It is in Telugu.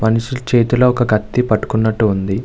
మనిషి చేతుల్లో ఒక కతి పటుకున్నట్టు వుంది.